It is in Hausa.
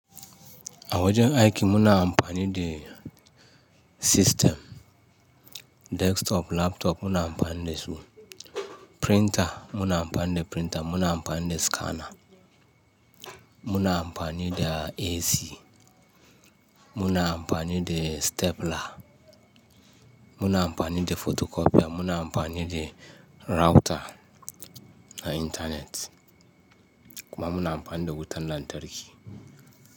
A wajen aiki muna amfani da system, desktop, laptop muna amfani da su, printer muna amfani da printer, muna amfani da scanner, muna amfani da AC, muna amfani da stapler, muna amfani da photocopier, muna amfani da router na internet, kuma muna amfani da wutan lantarki.